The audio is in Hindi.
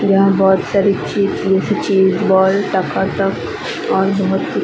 यहां बहुत सारी चीज और बहुत सी--